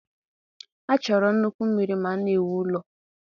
A chọrọ nnukwu mmiri ma a na-ewu ụlọ